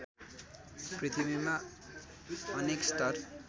पृथ्वीमा अनेक स्तर